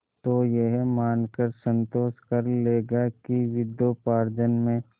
तो यह मानकर संतोष कर लेगा कि विद्योपार्जन में